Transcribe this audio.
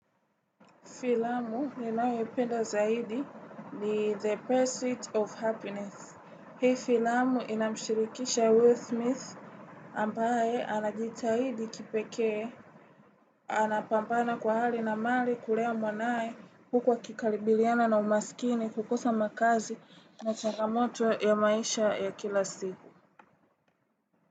Filamu ninayoipenda zaidi ni The Pursuit of Happiness. Hii filamu inamshirikisha Will Smith ambaye anajitahidi kipekee. Anapambana kwa hali na mali kulea mwanae huku akikabiliana na umasikini kukosa makazi na changamoto ya maisha ya kila siku.